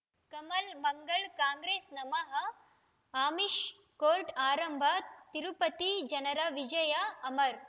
ಕಮಲ್ ಮಂಗಳ್ ಕಾಂಗ್ರೆಸ್ ನಮಃ ಅಮಿಷ್ ಕೋರ್ಟ್ ಆರಂಭ ತಿರುಪತಿ ಜನರ ವಿಜಯ ಅಮರ್